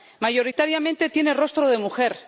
Mayoritariamente tiene rostro de mujer.